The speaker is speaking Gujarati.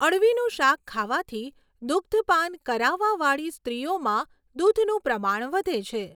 અળવીનું શાક ખાવાથી દુગ્ધપાન કરાવવાવાળી સ્ત્રીઓમાં દુધનું પ્રમાણ વધે છે